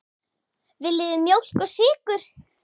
Viljið þið mjólk og sykur?